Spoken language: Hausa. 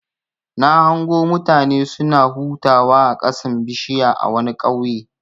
Na hango mutane suna hutawa a ƙasan bishiya a wani ƙauye.